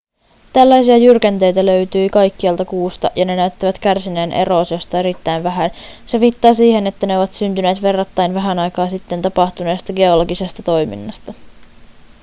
tällaisia jyrkänteitä löytyi kaikkialta kuusta ja ne näyttävät kärsineen eroosiosta erittäin vähän se viittaa siihen että ne ovat syntyneet verrattain vähän aikaa sitten tapahtuneesta geologisesta toiminnasta